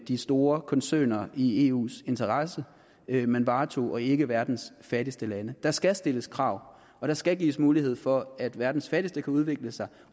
de store koncerner i eus interesser man varetog og ikke verdens fattigste landes der skal stilles krav og der skal gives mulighed for at verdens fattigste kan udvikle sig